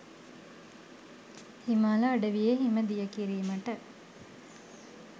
හිමාල අඩවියේ හිම දිය කිරීමට